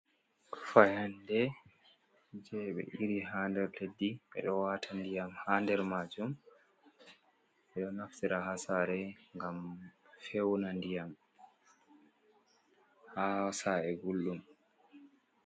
Fayande, je be iri ha nder leddi, ɓe ɗo wata ndiyam ha nder majuum, ɓe ɗo naftira ha sare gam fewna ndiyam ha sa’e gallium.